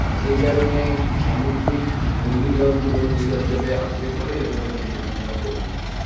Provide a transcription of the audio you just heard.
সেই কারণে সামুদ্রিক ঘূর্ণিঝড় গুলো এই অঞ্চলে আছড়ে পড়ে এবং এগুলো খুব বন্যা প্রবণ এলাকা